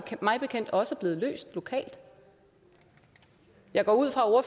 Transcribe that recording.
mig bekendt også blevet løst lokalt jeg går ud fra at